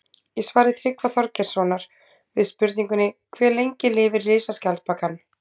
Í svari Tryggva Þorgeirssonar við spurningunni Hve lengi lifir risaskjaldbakan?